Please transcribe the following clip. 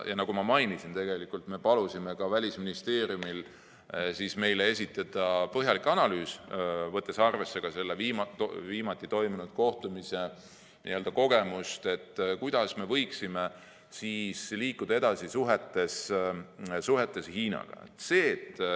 Nagu ma mainisin, me palusime ka Välisministeeriumil meile esitada põhjalik analüüs, võttes arvesse viimati toimunud kohtumise kogemust, kuidas me võiksime liikuda edasi suhetes Hiinaga.